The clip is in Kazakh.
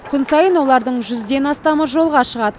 күн сайын олардың жүзден астамы жолға шығады